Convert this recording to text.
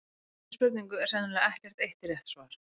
Við þessari spurningu er sennilega ekkert eitt rétt svar.